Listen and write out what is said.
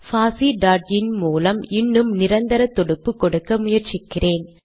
போஸ் டாட் இன் மூலம் இன்னும் நிரந்தர தொடுப்பு கொடுக்க முயற்சிக்கிறேன்